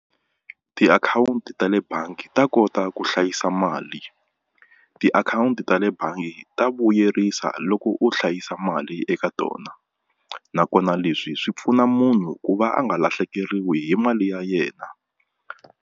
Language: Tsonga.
Tiakhawunti ta le bangi ta kota ku hlayisa mali tiakhawunti ta le bangi ta vuyerisa loko u hlayisa mali eka tona nakona leswi swi pfuna munhu ku va a nga lahlekeriwi hi mali ya yena.